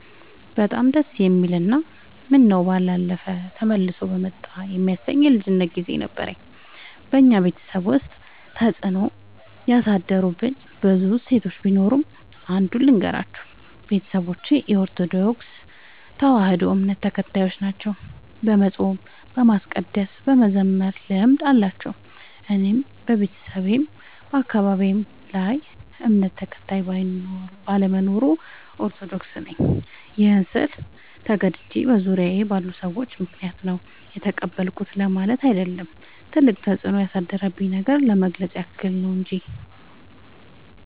በጣም ደስ የሚል እና ምነው ባላለፈ ተመልሶ በመጣ የሚያሰኝ የልጅነት ግዜ ነበረኝ። በኛ ቤተሰብ ውስጥ ተፅዕኖ ያሳደሩብኝ ብዙ እሴቶች ቢኖሩም። አንዱን ልገራችሁ፦ ቤተሰቦቼ የኦርቶዶክስ ተዋህዶ እምነት ተከታዮች ናቸው። የመፃም የማስቀደስ የመዘመር ልምድ አላቸው። እኔም በቤተሰቤም በአካባቢዬም ሌላ እምነት ተከታይ ባለመኖሩ። ኦርቶዶክስ ነኝ ይህን ስል ተገድጄ በዙሪያዬ ባሉ ሰዎች ምክንያት ነው የተቀበልኩት ለማለት አይደለም ትልቅ ተፅኖ ያሳደረብኝን ነገር ለመግለፅ ያክል ነው።